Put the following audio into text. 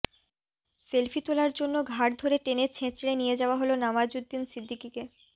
selfie তোলার জন্য ঘাড় ধরে টেনে ছেঁচড়ে নিয়ে যাওয়া হল নওয়াজউদ্দিন সিদ্দিকিকে